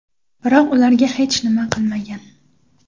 Biroq ularga hech nima qilmagan.